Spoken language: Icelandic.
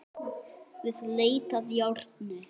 Við leit að járni